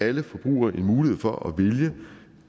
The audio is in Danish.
alle forbrugere en mulighed for at vælge